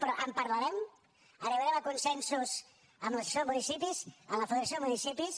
però en parlarem arribarem a consensos amb l’associació de municipis amb la federació de municipis